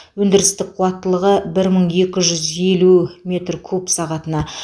өндірістік қуаттылығы бір мың екі жүз елу метр куб сағатына